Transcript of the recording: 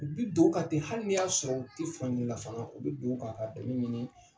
U bɛ don u kan ten hali ni y'a sɔrɔ u tɛ fan fanga u bɛ don o kan ka dɛmɛ ɲini